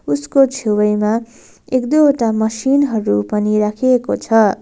उसको छेउैमा एक दुईवटा मसिन हरू पनि राखिएको छ।